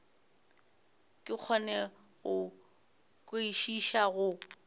ke kgone go kwešiša go